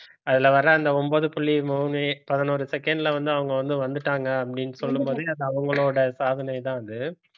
அதுல வர்ற அந்த ஒன்பது புள்ளி மூணு பதினோரு second ல வந்து அவங்க வந்து வந்துட்டாங்க அப்படின்னு சொல்லும் போது அது அவங்களோட சாதனைதான் அது